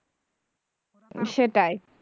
সেটাই